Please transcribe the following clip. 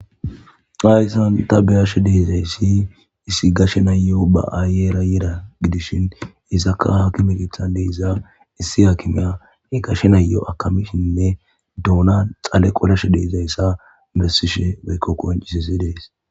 Hayssan ta beyashe deezayssi issi gashe nayo ba7aayera yeeda gidishin isaka haakime githan deeza issi haakimeya e gashe nayo akamishinne duuna xale qolashe deezayssa bessishe weykko koncisissi dees